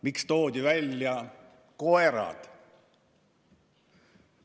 Miks toodi välja koerad?